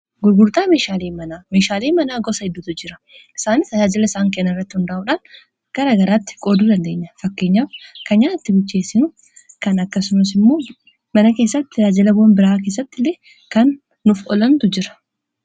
gurgurtaa meeshaalee. manaa meeshaalee manaa gosa heddutu jira. isaanis tajaajila isaan kennan irratti hundaa'uudhaan garaa garaatti qooduu dandeenya. fakkeenyaaf kan nyaatatti bilcheessinu kan akkasumas immoo mana keessatti tajaajila bu'ura biraa keessatti illee kan nuuf olantu jira.